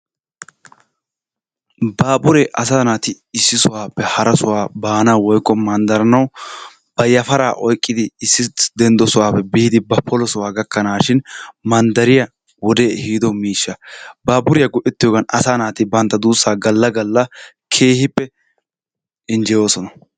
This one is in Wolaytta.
Baaburee asaa naati issi sohuwappe hara sohuwa baanawu woykko manddaranawu ba yafaraa oyqqidi issi denddo sohuwappe biidi ba polo sohuwa gakkanaashin manddariya wodee ehiido miishshaa. Baaburiya go'ettiyogan asaa naati bantta duussaa galla galla keehippe injjeyoosona.